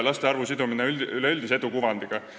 Laste arvu sidumine üleüldise edu kuvandiga.